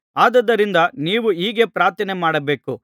ಆದುದರಿಂದ ನೀವು ಹೀಗೆ ಪ್ರಾರ್ಥನೆಮಾಡಬೇಕು